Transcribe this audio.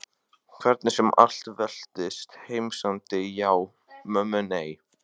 Hvernig sem allt veltist. heimsendi já, mömmu nei.